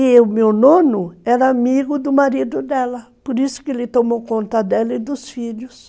É, e o meu nono era amigo do marido dela, por isso que ele tomou conta dela e dos filhos.